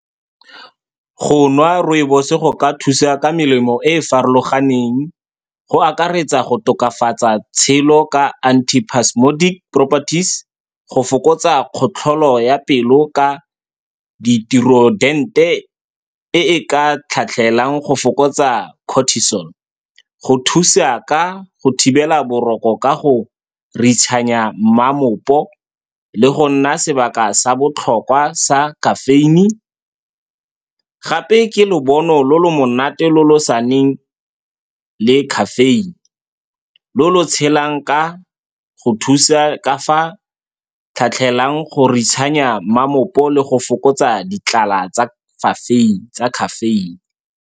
Go nwa rooibos-e go ka thusa ka melemo e e farologaneng, go akaretsa go tokafatsa bophelo ka antispasmodic, go fokotsa khatelelo ya pelo ka ditiro tse di rileng, e e ka tlhatlhelang go fokotsa cortisol, go thusa ka go thibela boroko ka go re mamopo, le go nna sebaka sa botlhokwa sa caffeine. Gape ke lobone lo lo monate lo lo se nang caffeine, lo lo tshelang ka go thusa ka fa tlhatlhelang go re mamopo le go fokotsa ditlhala tsa tsa caffeine.